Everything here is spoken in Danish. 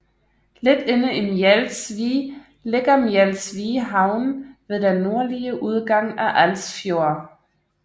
Lidt inde i Mjels Vig ligger Mjels Vig Havn ved den nordlige udgang af Als Fjord